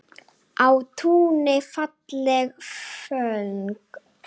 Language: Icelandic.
Á túni falleg föng.